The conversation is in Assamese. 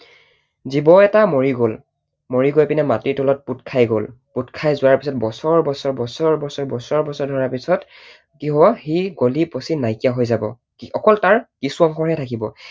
জীৱ এটা মৰি গল, মৰি পিনে মাটিৰ তলত পোত খাই গল। পোত খাই যোৱাৰ পিছত বছৰ বছৰ বছৰ বছৰ ধৰা পিছত কি হব সি গলি পচি নাইকিয়া হৈ যাব। অকল তাৰ কিছু অংশহে থাকিব।